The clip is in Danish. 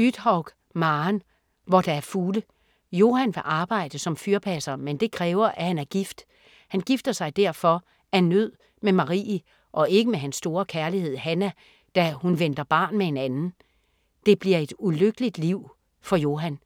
Uthaug, Maren: Hvor der er fugle Johan vil arbejde som fyrpasser, men det kræver at han er gift. Han gifter sig derfor af nød med Marie og ikke med hans store kærlighed, Hannah, da hun venter barn med en anden. Det bliver et ulykkeligt liv for Johan.